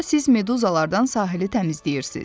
Sonra siz meduzalardan sahili təmizləyirsiz.